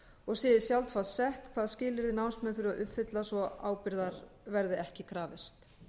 og sé í sjálfsvald sett hvaða skilyrði námsmenn þurfi að uppfylla svo ábyrgðar verði ekki krafist